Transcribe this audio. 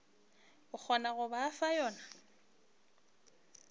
kgonago go ba fa yona